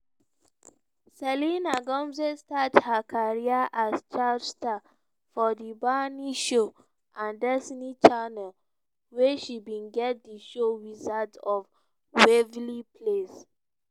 selena gomez start her career as child star for di barney show and disney channel wia she bin get di show wizards of waverly place.